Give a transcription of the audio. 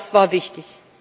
Das war wichtig.